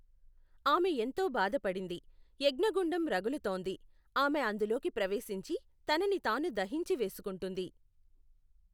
ఆమె ఎంతో బాధపడింది, యజ్ఞగుండం రగులుతోంది, ఆమె అందులోకి ప్రవేశించి తనని తాను దహించి వేసుకుంటుంది.